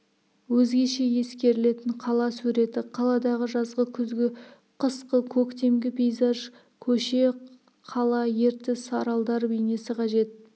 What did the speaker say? өзгеше ескерілетін қала суреті қаладағы жазғы күзгі қысқы көктемгі пейзаж көше қала ертіс аралдар бейнесі қажет